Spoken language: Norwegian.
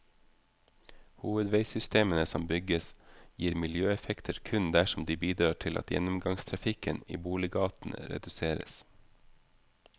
Hovedveisystemene som bygges gir miljøeffekter kun dersom de bidrar til at gjennomgangstrafikken i boliggatene reduseres.